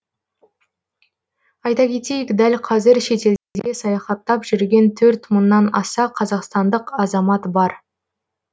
айта кетейік дәл қазір шетелдерде саяхаттап жүрген төрт мыңнан аса қазақстандық азамат бар